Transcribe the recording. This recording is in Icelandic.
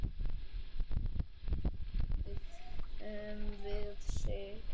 Í morgun áttum við Sig.